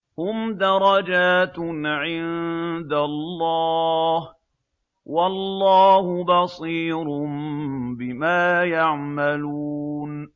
هُمْ دَرَجَاتٌ عِندَ اللَّهِ ۗ وَاللَّهُ بَصِيرٌ بِمَا يَعْمَلُونَ